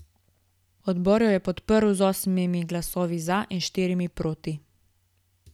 Odbor jo je podprl z osmimi glasovi za in štirimi proti.